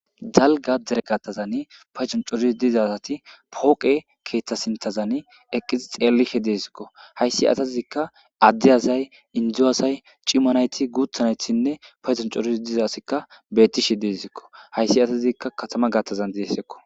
dalga dere gatazan paycon coris dizasati pooqe keeththa sintazan eqqizi xeellihe deessikko hayssi atatizikka adde asay indzu aasay cimanayti guuthanathinne payzon coris dizasikka beettishe deezikko hayssi atatizikka katama gaattazan deessekko